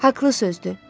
Haqlı sözdü.